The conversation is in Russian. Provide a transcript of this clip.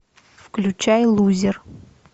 включай лузер